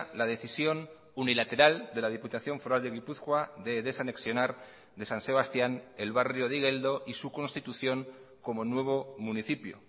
la decisión unilateral de la diputación foral de gipuzkoa de desanexionar de san sebastián el barrio de igeldo y su constitución como nuevo municipio